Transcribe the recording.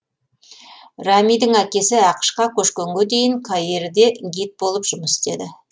рамидың әкесі ақш қа көшкенге дейін каирде гид болып жұмыс істеді